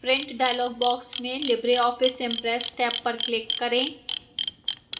print dialog box में libreoffice impress tab पर click करें